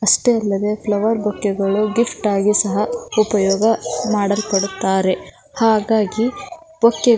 ಅಷ್ಟೆ ಅಲ್ಲದೆ ಫ್ಲವರ್ ಬೊಕ್ಕೆಗಳು ಗಿಫ್ಟ್ ಆಗಿ ಸಹ ಉಪಯೋಗ ಮಾಡಲ್ಪಡುತ್ತಾರೆ ಹಾಗಾಗಿ ಬೊಕ್ಕೆಗಳನ್ನು --